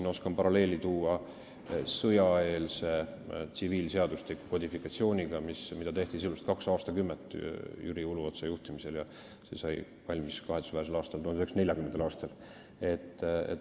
Ma oskan tuua paralleeli sõjaeelse tsiviilseadustiku kodifikatsiooniga, mida tehti sisuliselt kaks aastakümmet Jüri Uluotsa juhtimisel ja mis sai valmis kahetsusväärsel aastal, 1940. aastal.